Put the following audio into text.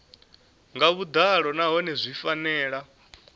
nga vhuḓalo nahone zwi fanela